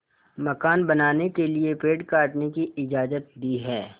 मकान बनाने के लिए पेड़ काटने की इजाज़त दी है